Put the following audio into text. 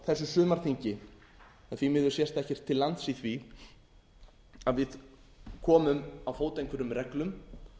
þessu sumarþingi en því miður sést ekkert til lands í því að við komum á fót einhverjum reglum